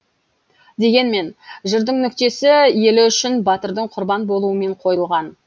дегенмен жырдың нүктесі елі үшін батырдың құрбан болуымен қойылған